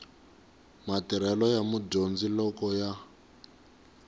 matirhelo ya mudyondzi loko ya